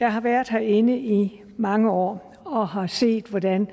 jeg har været herinde i mange år og har set hvordan